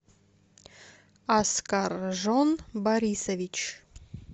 аскаржон борисович